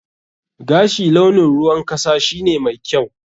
Gashi launin ruwan kasa shine mai kyau.